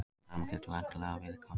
Það sama gildir vitanlega líka um hana!